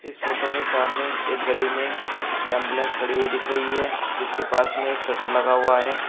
इस फोटो में सामने एक गली में एंबुलेंस खड़ी हुई दिख रही है जिसके पास में एक शटर लगा हुआ है।